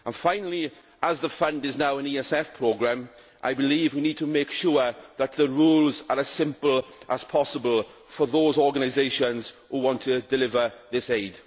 Finally, as the fund is now an ESF programme, I believe that we need to make sure that the rules are as simple as possible for those organisations which want to deliver this aid.